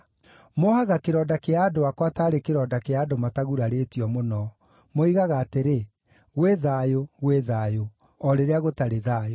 Mohaga kĩronda kĩa andũ akwa taarĩ kĩronda kĩa andũ matagurarĩtio mũno. Moigaga atĩrĩ, “Gwĩ thayũ, gwĩ thayũ,” o rĩrĩa gũtarĩ thayũ.